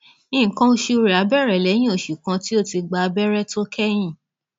nǹkan oṣù rẹ á bẹrẹ lẹyìn oṣù kan tí o ti gba abẹrẹ tó kẹyìn